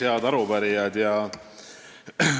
Head arupärijad!